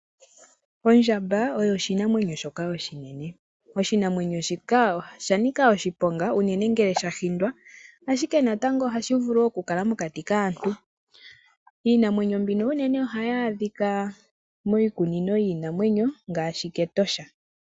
Ondjamba oyo oshinamwenyo shoka oshinene. Oshinamwenyo shika osha nika oshiponga unene ngele sha hindwa, ashike natango ohashi vulu okukala mokati kaantu. Iinamwenyo mbika unene ohayi adhika miikunino yiinamwenyo ngaashi mEtosha.